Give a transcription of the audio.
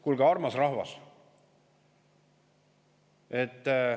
Kuulge, armas rahvas!